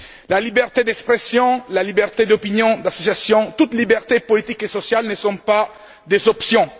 La liberté d'expression, la liberté d'opinion, d'association, toutes les libertés politiques et sociales ne sont pas des options.